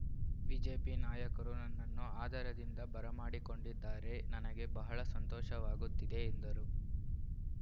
BJP ನಾಯಕರು ನನ್ನನ್ನು ಆದರದಿಂದ ಬರ ಮಾಡಿಕೊಂ‌ಡಿದ್ದಾರೆ ನನಗೆ ಬಹಳ ಸಂತೋಷವಾಗುತ್ತಿದೆ ಎಂದರು